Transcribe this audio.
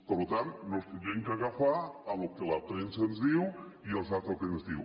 per tant ens hauríem d’agafar al que la premsa ens diu i a les dades que ens diu